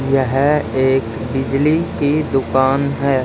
यह एक बिजली की दुकान है।